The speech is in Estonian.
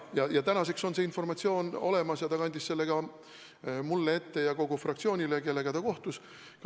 Tänaseks on see informatsioon olemas ja ta kandis selle ette ka mulle ja kogu fraktsioonile, kellega ta kohtus.